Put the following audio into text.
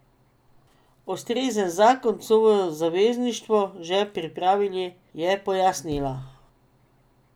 Ustrezen zakon so v Zavezništvu že pripravili, je pojasnila.